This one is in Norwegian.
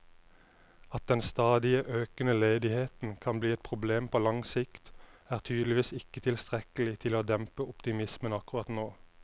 At den stadig økende ledigheten kan bli et problem på lang sikt, er tydeligvis ikke tilstrekkelig til å dempe optimismen akkurat nå.